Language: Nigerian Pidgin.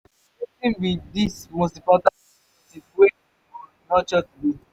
wetin be di most important relationship wey you go nurture today?